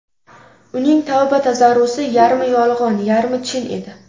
Uning tavba-tazarrusi yarmi yolg‘on, yarmi chin edi.